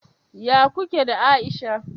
Ya kuke da Aisha?